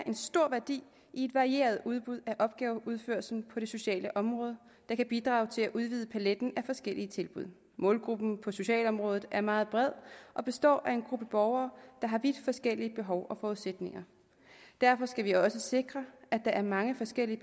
en stor værdi i et varieret udbud af opgaveudførelsen på det sociale område der kan bidrage til at udvide paletten af forskellige tilbud målgruppen på socialområdet er meget bred og består af en gruppe borgere der har vidt forskellige behov og forudsætninger derfor skal vi også sikre at der er mange forskellige